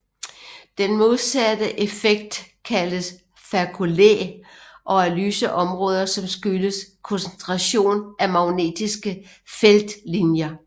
Den modsatte effekt kaldes faculae og er lyse områder som skyldes koncentration af magnetiske feltlinjer